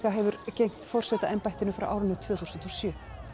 hefur gegnt forsetaembættinu frá árinu tvö þúsund og sjö